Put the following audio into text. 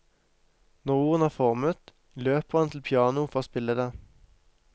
Når ordene er formet, løper han til pianoet for å spille det.